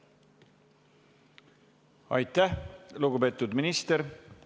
Aitäh, lugupeetud minister!